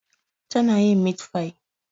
Tana yin mitfai